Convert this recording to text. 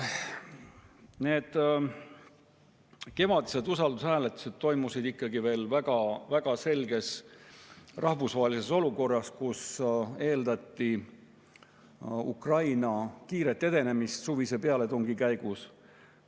Need kevadised usaldushääletused toimusid veel ikkagi väga-väga selgelt sellises rahvusvahelises olukorras, kus eeldati Ukraina kiiret edenemist suvise pealetungi käigus.